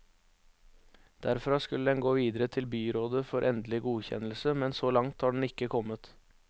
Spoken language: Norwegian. Derfra skulle den gå videre til byrådet for endelig godkjennelse, men så langt har den ikke kommet.